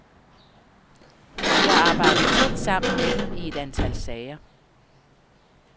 Vi har arbejdet tæt sammen med dem i et antal sager.